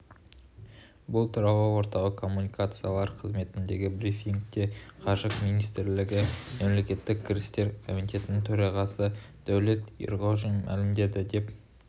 бұл туралы орталық коммуникациялар қызметіндегі брифингте қаржы министрлігі мемлекеттік кірістер комитетінің төрағасыдәулет ерғожин мәлімдеді деп